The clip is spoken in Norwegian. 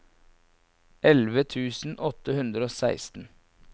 elleve tusen åtte hundre og seksten